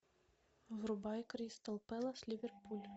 врубай кристал пэлас ливерпуль